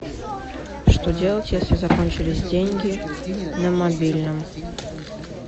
что делать если закончились деньги на мобильном